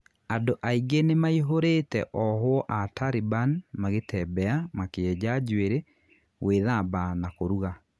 Andu ainge nimaihurite ohwo aa Taliban magitebea, makienja njwiri, guithamba na kũruga.